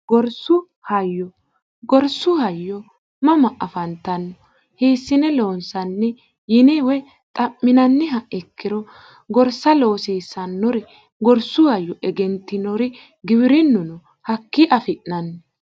gorsu hayyo gorsu hayyo mama afantanno hiissine loonsanni yine woy xa'minanniha ikkiro gorsa loosiisannori gorsu hayyo egentinori giwirinnuno hakkii afi'nanni